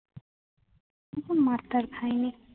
ওরকম মার-টার খাইনি।